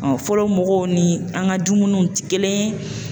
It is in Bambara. fɔlɔ mɔgɔw ni an ka dumuniw ti kelen ye